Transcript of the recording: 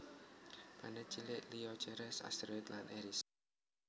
Planet cilik liya Ceres asteroid lan Eris